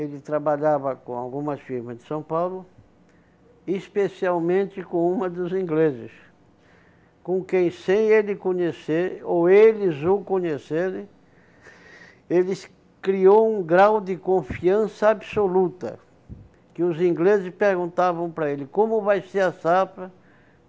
ele trabalhava com algumas firmas de São Paulo, especialmente com uma dos ingleses, com quem sem ele conhecer, ou eles o conhecerem, ele criou um grau de confiança absoluta, que os ingleses perguntavam para ele, como vai ser a safra?